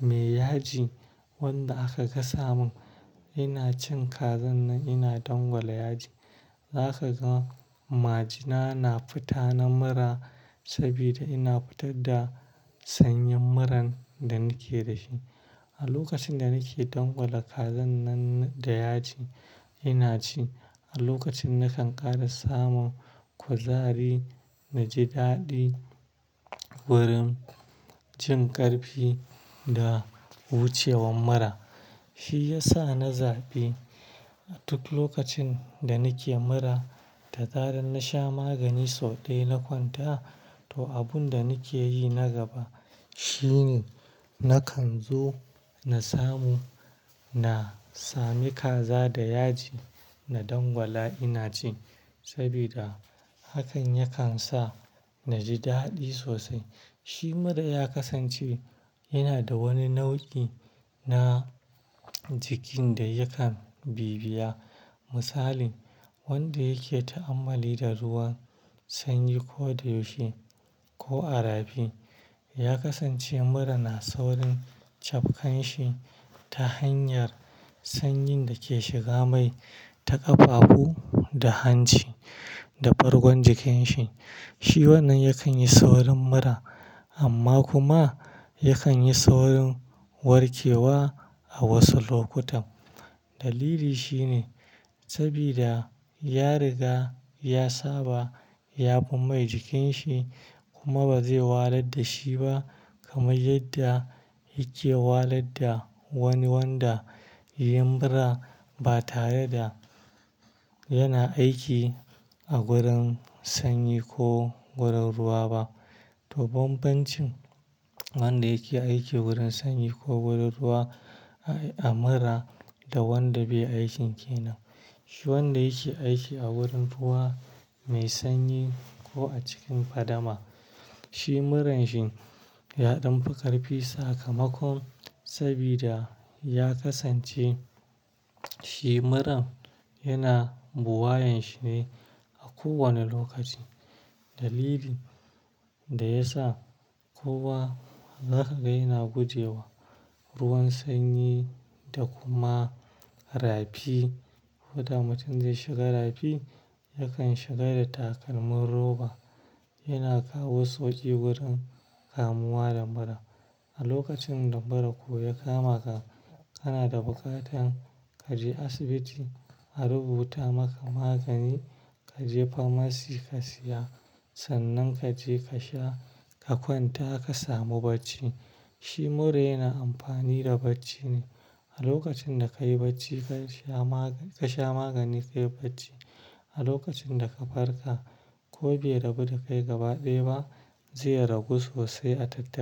me yaji wanda aka gasa mun, ina cin kazan nan ina dangwala yaji. Za ka ga majina na fita na mura sabida ina fitar da sanyen muran da nake da shi. A lokacin da nake dangwala kazan nan da yaji, ina ci. A lokacin na kan ƙara samun kuzari, naji daɗi wurin jin ƙarfe da wucewan mura. Shi ya sa na zaɓi duk lokacin da nake mura, da zaran na sha magani sau ɗaya na kwanta. To, abun da nake yi na gaba shine na kan zo na samu, na sami kaza da yaji na dangwala ina ci sabida hakan yakan sa naji daɗi sosai. Shi mura ya kasance yana da wani nau'i na jikin da yakan bibiya. Misali, wanda yake ta'amali da ruwan sanyi ko da yushin ko a rafi, ya kasance mura na saurin cafkan shi ta hanyar sanyin da ke shiga mai ta ƙafafu da hanci da bargon jikin shi. Shi wannan yakan yi saurin mura amma kuma yakan yi saurin warke wa a wasu lokutan. Dalili shine sabida ya riga ya saba, ya fi mai jikin shi kuma ba zai walar da shi ba kamar yadda yake walar da wani wanda yin mura ba tare da yana aiki a gurin sanyi ko gurin ruwa ba. To, bambancin wanda yake aiki wurin sanyi ko gurin ruwa a mura da wanda bai aikin ke nan. Shi wanda yake aiki a wurin ruwa mai sanyi ko a cikin fadama, shi muran shi ya ɗan fi ƙarfi sakamakon sabida ya kasance shi muran yana buwayen shi ne a kowane lokaci. Dalili da ya sa kowa za ka ga yana gujewa ruwan sanyi da kuma rafi. Ko da mutum zai shiga rafi, yakan shiga da takalmin roba. Yana kawo sauƙi wurin kamuwa da mura. A lokacin da mura ko ya kama ka, kana da buƙatar ka je asibiti a rubuta maka magani, ka je famasi ka siya. Sannan ka je ka sha, ka kwanta ka samu bacci. Shi mura yana amfani da bacci ne. A lokacin da ka yi bacci ka sha magani, ka sha magani ka yi bacci. A lokacin da ka farka ko bai rabu da kai gaba ɗaya ba, zai ragu sosai a tattare.